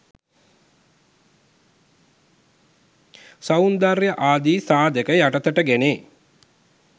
සෞන්දර්ය ආදී සාධක යටතට ගැනේ.